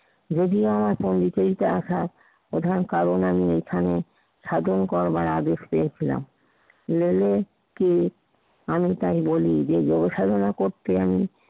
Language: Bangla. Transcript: যদিও এখন পন্ডিচারীতে আসার প্রধান কারণ আমি এখানে সাধন করবার আদেশ পেয়েছিলাম। লেলিনকে আমি তারে বলি যে যুব সাধনা করতে আমি